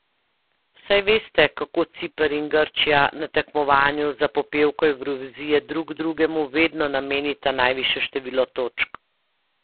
Saj veste, kako Ciper in Grčija na tekmovanju za popevko Evrovizije drug drugemu vedno namenita najvišje število točk?